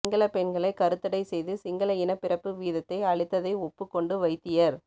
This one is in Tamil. சிங்கள பெண்களை கருத்தடை செய்து சிங்கள இன பிறப்பு வீதத்தை அழித்தை ஒப்புக்கொண்டு வைத்தியர்